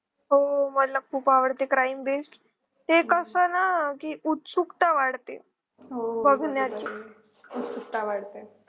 हो मला खूप आवडते crime based एक अस ना कि उत्सुकता वाढते बघण्याची